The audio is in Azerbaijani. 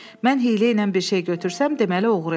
Mən hiyləylə bir şey götürsəm, deməli oğruyam.